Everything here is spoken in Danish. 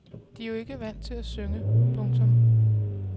De er jo ikke vant til at synge. punktum